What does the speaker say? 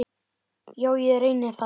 Já, ég reyni það.